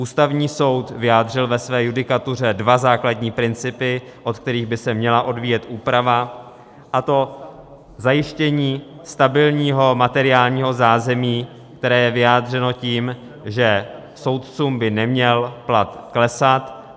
Ústavní soud vyjádřil ve své judikatuře dva základní principy, od kterých by se měla odvíjet úprava, a to zajištění stabilního materiálního zázemí, které je vyjádřeno tím, že soudcům by neměl plat klesat.